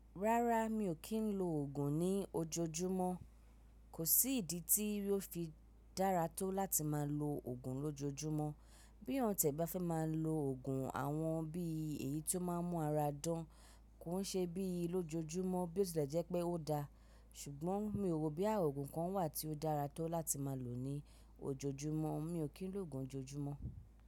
Rárá, mi ò kí ń lo òògùn ní ojoojúmọ́. Kò sí ìdí tí ó fi dára tó láti máa lo òògùn lójoojúmọ́. Bí yan ti ẹ̀ bá fẹ́ máa lo òògùn àwọn bí èyí tó máa ń mú ara dán, kò ṣe bíi lójoojúmọ́ bí ó tilẹ̀ jẹ́ pé ó dáa. Ṣùgbọ́n mi ò rò bo ya òògùn kan wà tí ó dára tó láti máa lò ní ojoojúmọ́, mi ò kí ń lo òògùn lójoojúmọ́.